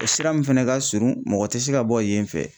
O sira min fɛnɛ ka surun mɔgɔ ti se ka bɔ yen fɛ